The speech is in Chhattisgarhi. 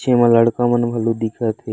जेमा लड़का मन घलो दिखत हे।